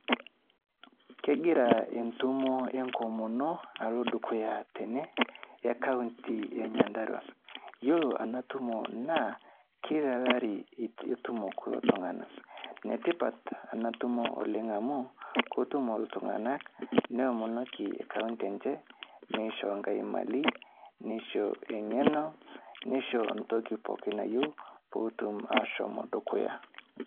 Kegira entumo enkomono alo dukuya tene e county e Nyandarua, iyiolo ena tumo naa, kila lari etumo iltung'ana. Netipat ena tumo oleng amu, kotumo iltung'ana, neomonoki enje, meshoo Nkai mali, meishoo eng'eno, meishoo ntoki pooki toki nayeu, peetum ashom dukuya.